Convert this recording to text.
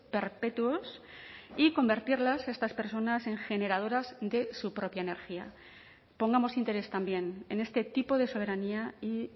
perpetuos y convertirlas estas personas en generadoras de su propia energía pongamos interés también en este tipo de soberanía y